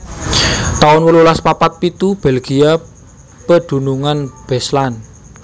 taun wolulas papat pitu Belgia pedunungan Beslan